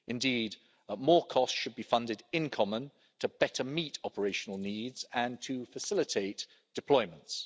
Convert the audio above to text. Indeed, more costs should be funded in common to better meet operational needs and to facilitate deployments.